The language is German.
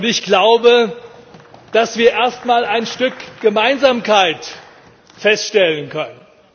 Ich glaube, dass wir erst mal ein Stück Gemeinsamkeit feststellen können.